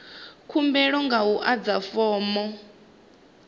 khumbelo nga u adza fomo